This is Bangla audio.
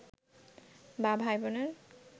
বা ভাইবোনের